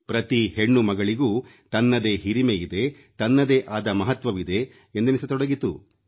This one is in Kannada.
ಪ್ರತಿ ಹೆಣ್ಣು ಮಗಳಿಗೂ ತನ್ನದೇ ಹಿರಿಮೆಯಿದೆ ತನ್ನದೇ ಆದ ಮಹತ್ವವಿದೆ ಎಂದೆನಿಸತೊಡಗಿತು